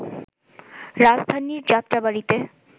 রাজধানীর যাত্রাবাড়ীতে